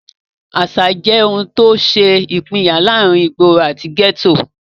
Àsà jẹ́ ohun tó ṣe ìpínyà láàrin ìgboro àti gẹ́tò.